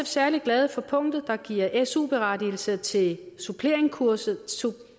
særlig glade for punktet der giver su berettigelse til suppleringskurset